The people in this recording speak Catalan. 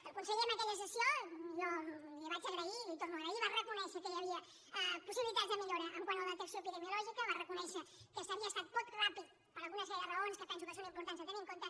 el conseller en aquella sessió jo li ho vaig agrair i li ho torno a agrair va reconèixer que hi havia possibi·litats de millora quant a la detecció epidemiològica va reconèixer que s’havia estat poc ràpid per alguna sèrie de raons que penso són importants de tenir en compte